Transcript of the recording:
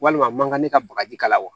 Walima mankan ne ka bagaji kala wa